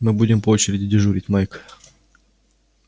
мы будем по очереди дежурить майк